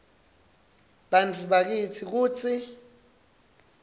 bantfu bakitsi kutsi